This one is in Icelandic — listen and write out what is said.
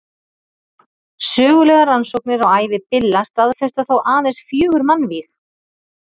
Sögulegar rannsóknir á ævi Billa staðfesta þó aðeins fjögur mannvíg.